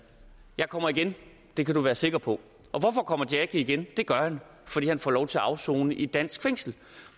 jeg kommer igen det kan du være sikker på og hvorfor kommer jackie igen det gør han fordi han får lov til at afsone i et dansk fængsel